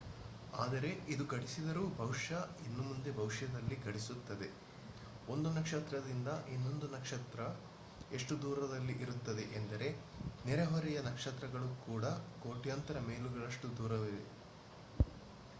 ಆದರೆ ಇದು ಘಟಿಸಿದರೂ ಬಹುಶಃ ಇನ್ನೂ ಮುಂದೆ ಭವಿಷ್ಯದಲ್ಲಿ ಘಟಿಸುತ್ತದೆ ಒಂದು ನಕ್ಷತ್ರದಿಂದ ಇನ್ನೊಂದು ನಕ್ಷತ್ರ ಎಷ್ಟು ದೂರದಲ್ಲಿ ಇರುತ್ತದೆ ಎಂದರೆ ನೆರೆಹೊರೆಯ ನಕ್ಷತ್ರಗಳು ಕೂಡ ಕೋಟ್ಯಾಂತರ ಮೈಲುಗಳಷ್ಟು ದೂರವಿರುತ್ತವೆ